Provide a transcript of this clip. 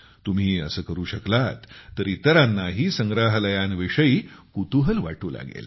तुम्ही असे करू शकलात तर इतरांनाही संग्रहालयांविषयी कुतूहल वाटू लागेल